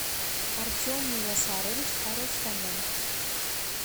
артем миясарович арустамян